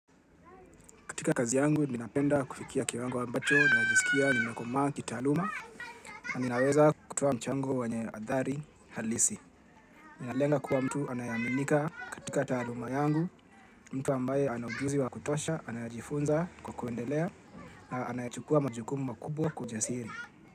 Katika kazi yangu, ninapenda kufikia kiwango ambacho najisikia nimekomaa kitaaluma na ninaweza kutoa mchango wenye athari halisi. Nalenga kuwa mtu anayeaminika katika taaluma yangu, mtu ambaye ana ujuzi wa kutosha, anajifunza kwa kuendelea na anayechukua majukumu makubwa kwa ujasiri.